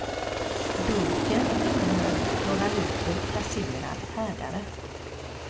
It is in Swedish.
Dunken innehöll några liter kasserad härdare.